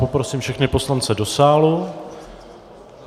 Prosím všechny poslance do sálu.